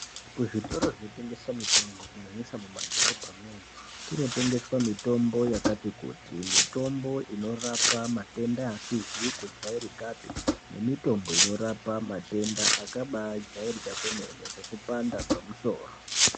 Kuzvitoro zvinotengesa mitombo kunyanyisa mwumwadhorobha mwo kunotengeswa mitombo yakati kuti. Mitombo inorapa matenda asizi kujairikapi nemitombo inorapa matenda akabajairika akadai nekupanda kwemusoro.